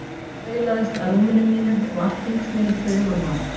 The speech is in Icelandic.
Ég staulaðist að rúm- inu mínu og allt hringsnerist fyrir augunum á mér.